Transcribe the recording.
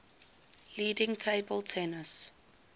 leading table tennis